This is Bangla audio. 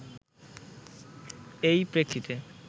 এই প্রেক্ষিতে